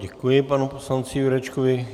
Děkuji panu poslanci Jurečkovi.